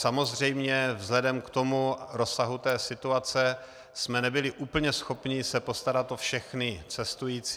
Samozřejmě vzhledem k tomu rozsahu té situace jsme nebyli úplně schopni se postarat o všechny cestující.